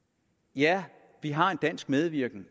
ja vi har en dansk medvirken